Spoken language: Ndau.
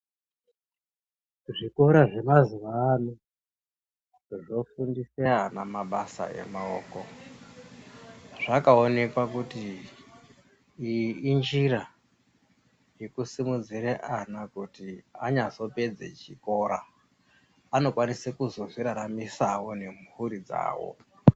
Zvikora zvemazuwa ano zvofundise ana mabasa emaoko zvakaonekwa kuti iyi injira yekusimudzire ana kuti anyazopedze chikora anokwanise kuzozviraramisawo nemhuri dzawo.